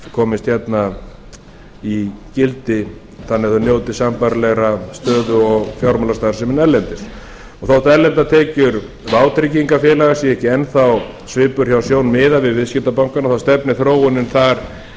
komist hérna í gildi þannig að þau njóti sambærilegrar stöðu og fjármálastarfsemin erlendis þótt erlendar tekjur vátryggingafélaga séu ekki enn þá svipur hjá sjón miðað við viðskiptabankana þá stefnir þróunin þar